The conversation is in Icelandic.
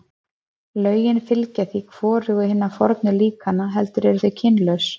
Lögin fylgja því hvorugu hinna fornu líkana, heldur eru þau kynlaus.